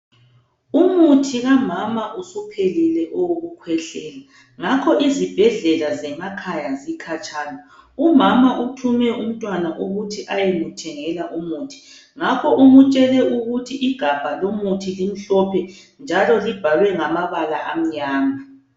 Umuthi kamama usuphelile owokukhwehlela. Ngakho izibhedlela zemakhaya zikhatshana. Umama uthume umntwana ukuthi ayemthengela umuthi. Ngakho umtshele ukuthi igabha lomuthi limhlophe njalo libhalwe ngamabala amnyama.